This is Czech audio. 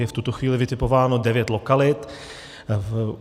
Je v tuto chvíli vytipováno devět lokalit.